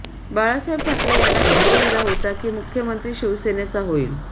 बाळासाहेब ठाकरे यांना शब्द दिला होता की मुख्यमंत्री शिवसेनेचा होईल